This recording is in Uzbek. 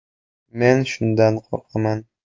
Men shundan qo‘rqaman.